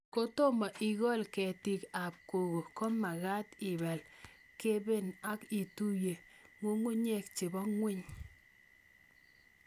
Kotomo ikol ketik ab koko ,ko magat ipal keben ak ituye ng'ung'unyek chebo ng'weny